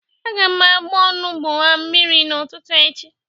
Aga m agba onugbu a mmiri n'ụtụtụ echi.